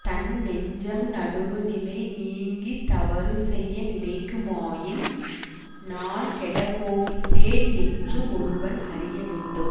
தன் நெஞ்சம் நடுவுநிலை நீங்கி தவறு செய்ய நினைக்குமாயின் நான் கெடப்போகின்றேன் என்று ஒருவன் அறிய வேண்டும்